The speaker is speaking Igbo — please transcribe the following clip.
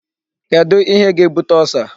Kedu ihe ga-ebute Ulcer?